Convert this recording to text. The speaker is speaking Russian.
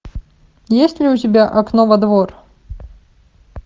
есть ли у тебя окно во двор